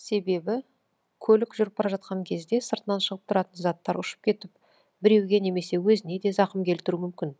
себебі көлік жүріп бара жатқан кезде сыртынан шығып тұратын заттар ұшып кетіп біреуге немесе өзіне де зақым келтіру мүмкін